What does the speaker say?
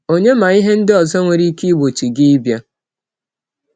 Ònye ma ihe ndị ọzọ nwere ike igbochi gị ịbịa?